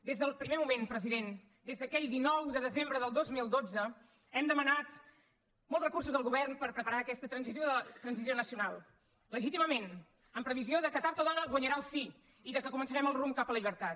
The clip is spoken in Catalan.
des del primer moment president des d’aquell dinou de desembre del dos mil dotze hem demanat molts recursos al govern per preparar aquesta transició nacional legítimament en previsió que tard o d’hora guanyarà el sí i que començarem el rumb cap a la llibertat